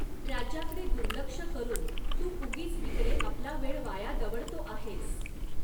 राज्याकडे दुर्लक्ष करून तू उगीच इकडे आपला वेळ वाया दवडतो आहेस.